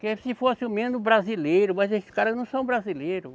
Porque se fosse ao menos brasileiro, mas esses caras não são brasileiros.